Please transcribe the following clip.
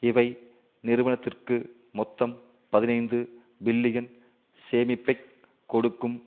இவை நிறுவனத்திற்கு மொத்தம் பதினைந்து பில்லியன் சேமிப்பை கொடுக்கும்